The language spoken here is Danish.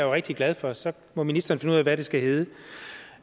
rigtig glad for og så må ministeren finde ud af hvad det skal hedde